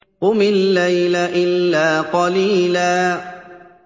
قُمِ اللَّيْلَ إِلَّا قَلِيلًا